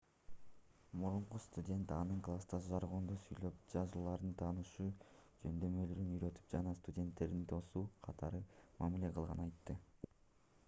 мурунку студент анын класста жаргондо сүйлөп жазууларда таанышуу жөндөмдөрүн үйрөтүп жана студенттердин досу катары мамиле кылганын айтты